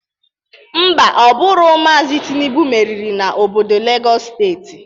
Ḿbà, Ọ bụrọ Maazi Tịnubụ meriri n'obodo Legọs steeti.